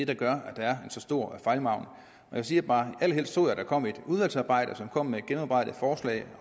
der gør at der er så stor en fejlmargin jeg siger bare at jeg allerhelst så at der kom et udvalgsarbejde som kommer med et gennemarbejdet forslag